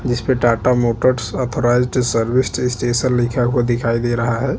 जिस पे Tata Motors authorised service station लिखा हुआ दिखाई दे रहा है।